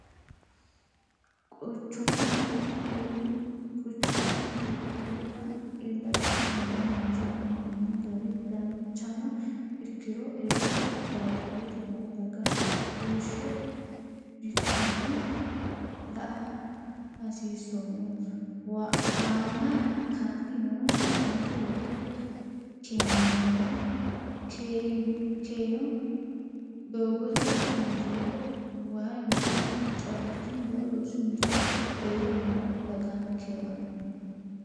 Quchumma itophiyutta illacha tunge loonsanni hee'noni gari danchano ikkiro eella baadiyyete no daga heeshsho bikkano la"a hasiisono waana hakkanni no gobbanke lopho keeyineemmo keeyino, doogote injo waayi injo caabbichu injo rosu injo eella no dagankewano